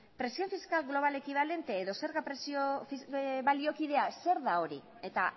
presio fiskal global ekibalente edo zerga presio baliokidea zer da hori eta